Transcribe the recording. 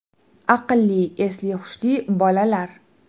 Aqlli, esli-hushli bolalar.